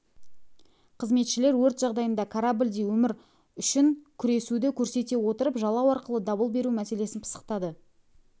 қызметшілер өрт жағдайында кораблде өмір үшін күресуді көрсете отырып жалау арқылы дабыл беру мәселесін пысықтады